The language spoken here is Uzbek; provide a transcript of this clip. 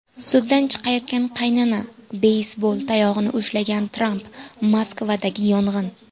Suddan chiqayotgan qaynana, beysbol tayog‘ini ushlagan Tramp, Moskvadagi yong‘in.